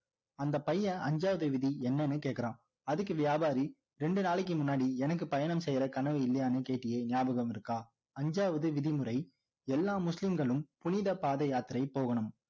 அந்த பையன் அஞ்சாவது விதி என்னன்னு கேட்கிறான் அதுக்கு வியாபாரி ரெண்டு நாளைக்கு முன்னாடி எனக்கு பயணம் செய்ற கனவு இல்லையான்னு கேட்டியே நியாபகம் இருக்கா அஞ்சாவது விதிமுறை எல்லா முஸ்லிம்களும் புனித பாதை யாத்திரை போகணும்